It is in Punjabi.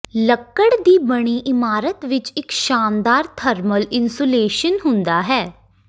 ਲੱਕੜ ਦੀ ਬਣੀ ਇਮਾਰਤ ਵਿਚ ਇਕ ਸ਼ਾਨਦਾਰ ਥਰਮਲ ਇਨਸੂਲੇਸ਼ਨ ਹੁੰਦਾ ਹੈ